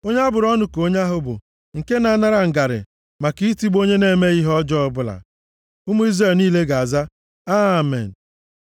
“Onye a bụrụ ọnụ ka onye ahụ bụ, nke na-anara ngarị maka itigbu onye na-emeghị ihe ọjọọ ọbụla.” Ụmụ Izrel niile ga-aza, “Amen.”